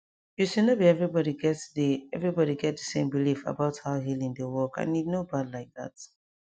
you see no be everybody get the everybody get the same belief about how healing dey workand e no bad like that